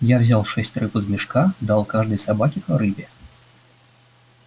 я взял шесть рыб из мешка дал каждой собаке по рыбе